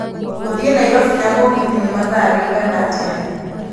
gũthiĩ nairobi na mũgithi nĩ mathaa riĩgana atĩa